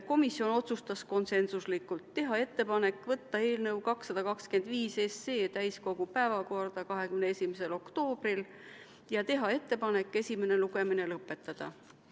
Komisjon otsustas konsensuslikult teha ettepaneku võtta eelnõu 225 täiskogu päevakorda 21. oktoobriks ja teha ettepaneku esimene lugemine lõpetada.